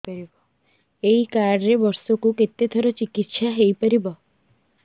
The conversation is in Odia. ଏଇ କାର୍ଡ ରେ ବର୍ଷକୁ କେତେ ଥର ଚିକିତ୍ସା ହେଇପାରିବ